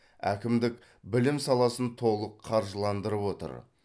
әкімдік білім саласын толық қаржыландырып отыр